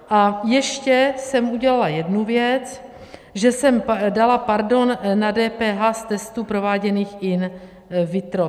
A ještě jsem udělala jednu věc, že jsem dala pardon na DPH z testů prováděných in vitro.